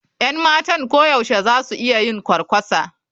Yan matan koyaushe za su iya yin kwarkwasa.